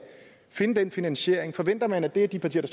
finde den finansiering forventer man at det er de partier